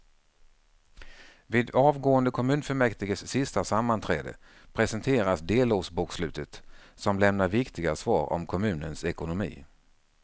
Vid avgående kommunfullmäktiges sista sammanträde presenteras delårsbokslutet som lämnar viktiga svar om kommunens ekonomi.